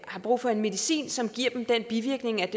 har brug for medicin som giver den bivirkning at